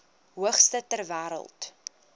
hoogste ter wêreld